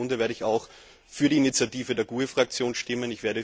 Aus diesem Grunde werde ich auch für die Initiative der GUE NGL Fraktion stimmen.